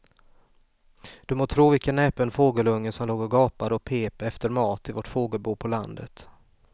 Du må tro vilken näpen fågelunge som låg och gapade och pep efter mat i vårt fågelbo på landet.